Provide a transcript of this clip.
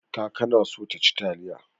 Kaka na so taci taliya.